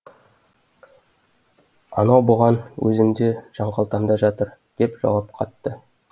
анау бұған өзімде жан қалтамда жатыр деп жауап қатты